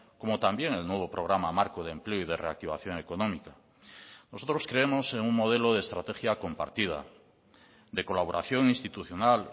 como también el nuevo programa marco de empleo y de reactivación económica nosotros creemos en un modelo de estrategia compartida de colaboración institucional